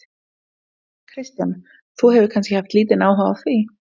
Kristján: Þú hefur kannski haft lítinn áhuga á því?